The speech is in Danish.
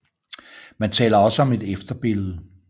Man taler også om et efterbillede